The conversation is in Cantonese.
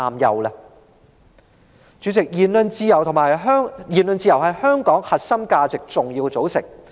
代理主席，言論自由是香港核心價值的重要組成部分。